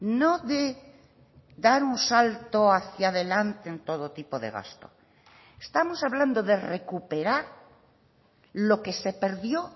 no de dar un salto hacia delante en todo tipo de gasto estamos hablando de recuperar lo que se perdió